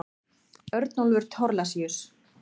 Örnólfur Thorlacius.